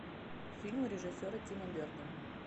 фильмы режиссера тима бертона